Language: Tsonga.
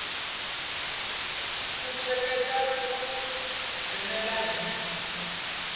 ku seketela ku nghenelela hi